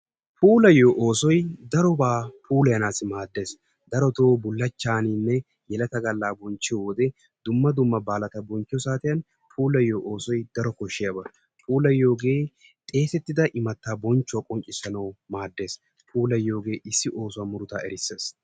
puulayiyidumma dumma maadees. darotoo bulachchaaninne dumma dumma baalata bonchchiyo saatiyan, puulayiyo oosoy daro koshiyaba. puulayiyoge xeesetida imataa bamchuwa qoncisanawu maades.